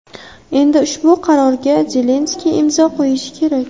Endi ushbu qarorga Zelenskiy imzo qo‘yishi kerak.